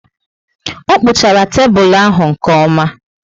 O kpuchara tébulu ahụ nke oma